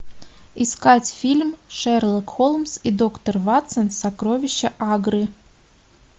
искать фильм шерлок холмс и доктор ватсон сокровища агры